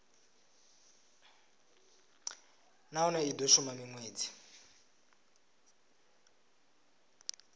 nahone i do shuma minwedzi